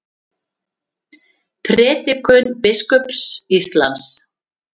Prédikun biskups Íslands